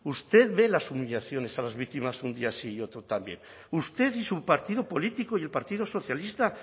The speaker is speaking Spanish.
usted ve las humillaciones a las víctimas un día sí y otro también usted y su partido político y el partido socialista